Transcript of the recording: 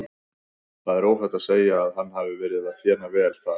Það er óhætt að segja að hann hafi verið að þéna vel þar.